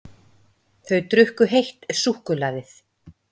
Þau drukku heitt súkkulaðið.